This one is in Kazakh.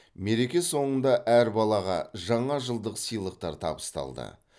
мереке соңында әр балаға жаңа жылдық сыйлықтар табысталды